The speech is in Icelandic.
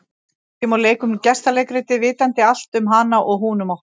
Við sitjum og leikum gestaleikritið, vitandi allt um hana og hún um okkur.